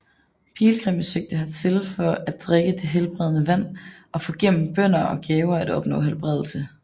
Pilgrimme søgte hertil for at drikke det helbredende vand og for gennem bønner og gaver at opnå helbredelse